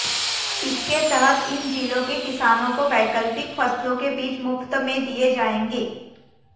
इसके तहत इन जिलों के किसानों को वैकल्पिक फसलों के बीज मुफ्त में दिए जाएंगे